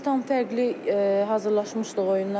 Biz tam fərqli hazırlaşmışdıq oyuna.